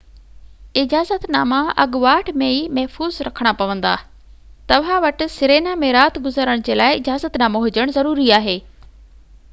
اجازت ناما اڳواٽ ۾ ئي محفوظ رکڻا پوندا توهان وٽ سرينا ۾ رات گذارڻ جي لاءِ اجازت نامو هجڻ ضروري آهي